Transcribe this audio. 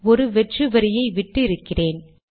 ஒரு வெற்று வரியை விட்டு இருக்கிறேன்